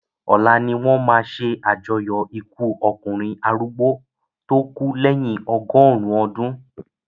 Ọ̀la ni wọ́n máa se àjọyọ̀ ikú ọkùnrin arúgbó tó kú lèyin ọgọ́rùn-ún ọdún